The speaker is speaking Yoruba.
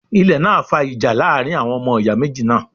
Ilẹ̀ náà fa ìjà láàrin àwọn ọmọ ìyá méjì náà